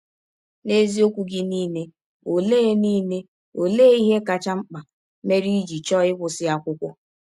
N’eziọkwụ gị niile, ọlee niile, ọlee ihe kacha mkpa mere i jị chọọ ịkwụsị akwụkwọ?